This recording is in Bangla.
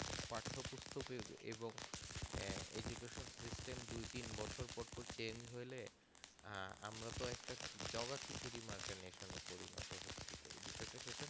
পাঠ্য পুস্তকের এবং আহ education system দুই তিন বছর বছর পর পর change হলে আমরা তো একটা যোগা খিচুড়ি মার্কের বিষয়ে পড়ি ওতা হত এই বিষয়ে পড়ি